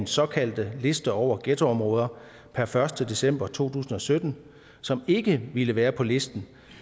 såkaldte liste over ghettoområder per første december to tusind og sytten som ikke ville være på listen